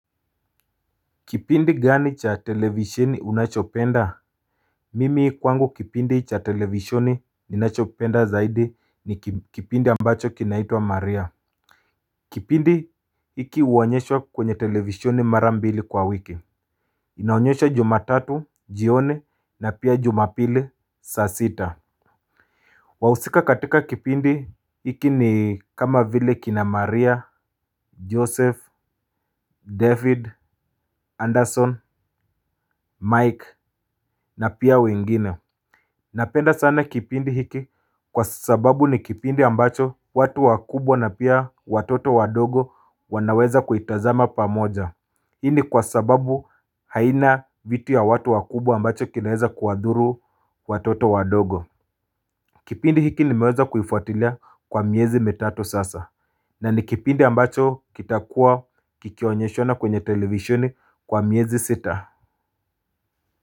Kipindi gani cha televisheni unachopenda Mimi kwangu kipindi cha televishoni ninachopenda zaidi ni kipindi ambacho kinaitwa maria kipindi hiki huonyeshoa kwenye televishoni mara mbili kwa wiki. Inaonyeshwa jumatatu, jioni na pia jumapili, saa sita wahusika katika kipindi hiki ni kama vile kina maria, joseph, david, anderson, mike na pia wengine napenda sana kipindi hiki kwa sababu ni kipindi ambacho watu wakubwa na pia watoto wadogo wanaweza kuitazama pamoja hii ni kwa sababu haina vitu ya watu wakubwa ambacho kinaweza kuwadhuru watoto wadogo kipindi hiki nimeweza kuifuatilia kwa miezi mitatu sasa na ni kipindi ambacho kitakuwa kikionyeshana kwenye televisheni kwa miezi sita.